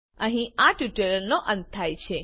અહીં આ ટ્યુટોરીયલનો અંત થાય છે